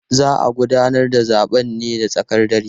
Za a gudanar da zaben ne da tsakar dare.